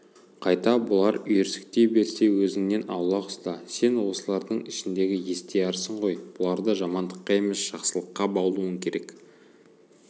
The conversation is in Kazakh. қайта бұлар үйірсектей берсе өзіңнен аулақ ұста сен осылардың ішіндегі естиярысың ғой бұларды жамандыққа емес жақсылыққа баулуың керек